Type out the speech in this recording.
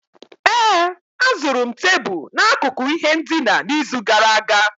ee, azụrụ m tebụl n'akụkụ ihe ndina n'izu gara aga